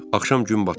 Axşam gün batanda.